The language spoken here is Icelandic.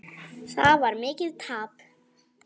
Það varð mikið tap.